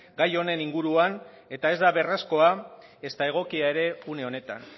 gai honen inguruan eta ez da beharrezkoa ezta egokia ere une honetan